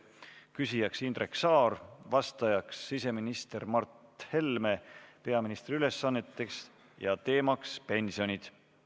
Küsija on Indrek Saar, vastaja siseminister Mart Helme peaministri ülesannetes, teemaks on pensionid.